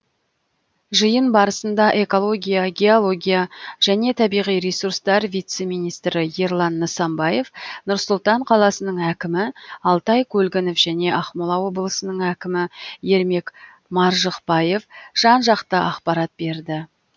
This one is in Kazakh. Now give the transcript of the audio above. жиын барасында экология геология және табиғи ресурстар вице министрі ерлан нысанбаев нұр сұлтан қаласының әкімі алтай көлгінов және ақмола облысының әкімі ермек маржықпаев жан жақты ақпарат берді